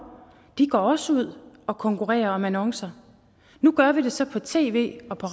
de går også ud og konkurrerer om annoncer nu gør vi det så på tv og på